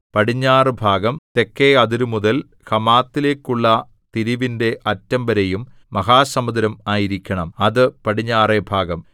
പടിഞ്ഞാറുഭാഗം തെക്കെ അതിരുമുതൽ ഹമാത്തിലേക്കുള്ള തിരിവിന്റെ അറ്റംവരെയും മഹാസമുദ്രം ആയിരിക്കണം അത് പടിഞ്ഞാറെഭാഗം